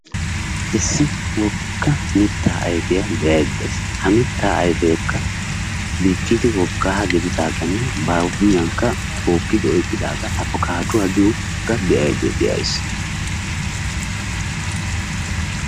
Issi wogga mittaa ayfiya be"aydda de"ayis ha mittaa ayfeekka diccidi woggaa gididaagaanne ba huuphiyankka tookkidi oyqqidaagaa afkkaadduwa giyogaa be"aydda de"ays.